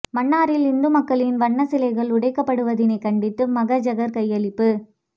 மன்னாரில் இந்து மக்களின் வணக்க சிலைகள் உடைக்கப்படுவதினை கண்டித்து மகஜர் கையளிப்பு